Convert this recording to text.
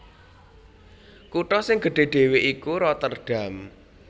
Kutha sing gedhé dhéwé iku Rotterdam